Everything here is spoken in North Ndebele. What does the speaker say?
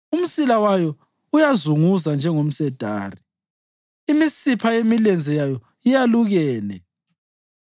Umsila wayo uyazunguza njengomsedari; imisipha yemilenze yayo yalukene.